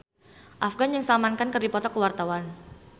Afgan jeung Salman Khan keur dipoto ku wartawan